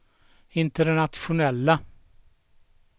internationella